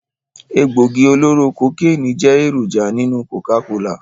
Egbògi oloro kokeni jẹ́ èròjà nínú Coca-cola